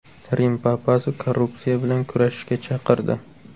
Rim papasi korrupsiya bilan kurashishga chaqirdi.